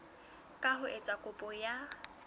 ka ho etsa kopo ya